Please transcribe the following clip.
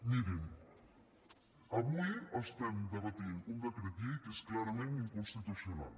mirin avui estem debatent un decret llei que és clarament inconstitucional